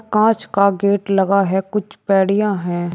कांच का गेट लगा है। कुछ पैडियाँ हैं।